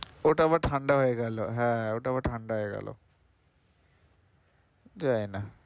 ওটা আবার ঠান্ডা হয়ে গেল হ্যাঁ হ্যাঁ ওটা আবার ঠান্ডা হয়ে গেল। জানি না।